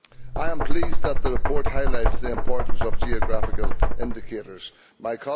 I am pleased that the report highlights the importance of geographical indicators My